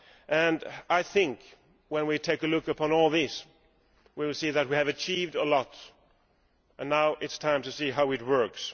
and I think when we take an overall view of all this, we will see that we have achieved a lot and now it is time to see how it works.